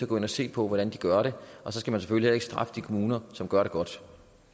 gå ind at se på hvordan de gør det og så skal man selvfølgelig heller ikke straffe de kommuner som gør det godt